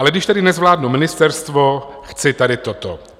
Ale když tedy nezvládnu ministerstvo, chci tady toto.